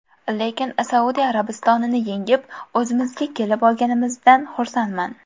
Lekin Saudiya Arabistonini yengib, o‘zimizga kelib olganimizdan xursandman.